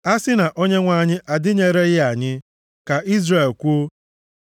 A sị na Onyenwe anyị adịnyereghị anyị, ka Izrel kwuo,